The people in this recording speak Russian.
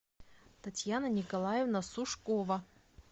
татьяна николаевна сушкова